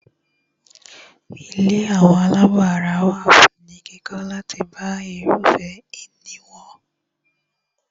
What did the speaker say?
Ilé àwọn àlábọ̀ ara wà ní kíkọ́ láti bá irúfẹ́ ìní wọn.